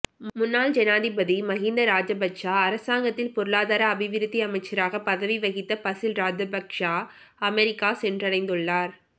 முன்னாள் ஜனாதிபதி மகிந்த ராஜபக்ஷ அரசாங்கத்தில் பொருளாதார அபிவிருத்தி அமைச்சராக பதவி வகித்த பசில் ராஜபக்ஷ அமெரிக்கா சென்றடைந்துள்ளார்